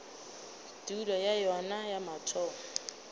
tulo ya yona ya mathomo